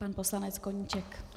Pan poslanec Koníček.